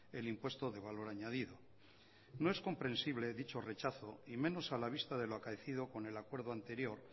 el impuesto de valor añadido no es comprensible dicho rechazo y menos a la vista de lo acaecido con el acuerdo anterior